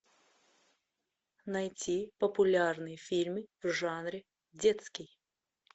найти популярные фильмы в жанре детский